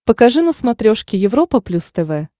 покажи на смотрешке европа плюс тв